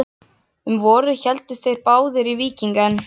Um vorið héldu þeir báðir í víking en